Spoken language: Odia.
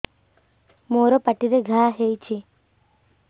ମୋର ପାଟିରେ ଘା ହେଇଚି